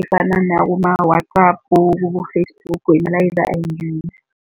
efana nakuma-WhatsApp kubo-Facebook, imilayezo ayingeni.